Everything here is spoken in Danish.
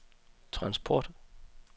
transport